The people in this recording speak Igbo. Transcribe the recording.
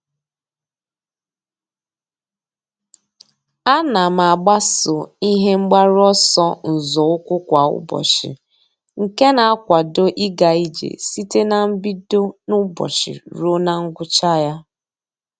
A na m agbaso ihe mgbaru ọsọ nzọụkwụ kwa ụbọchị nke na-akwado ịga ije site na mbido n'ụbọchị ruo na ngwụcha ya.